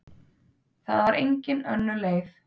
Það var engin önnur leið.